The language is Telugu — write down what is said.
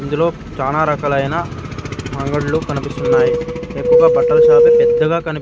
ఇందులో చాలా రకాలైన అంగడ్లు కనిపిస్తున్నాయి ఎక్కువగా బట్టల షాపే పెద్దగా కనిపి--